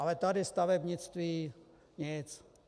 Ale tady stavebnictví - nic.